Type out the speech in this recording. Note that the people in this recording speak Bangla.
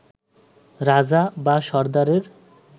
রাজা বা সর্দারের